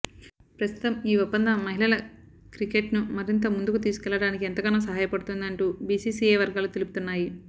ప్రస్తుతం ఈ ఒప్పందం మహిళల క్రికెట్ ను మరింత ముందుకు తీసుకువెళ్లడానికి ఎంతగానో సహాయపడుతుంది అంటూ బీసీసీఐ వర్గాలు తెలుపుతున్నాయి